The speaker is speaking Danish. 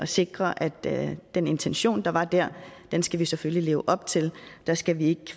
sikre at den intention der var der skal vi selvfølgelig leve op til der skal vi ikke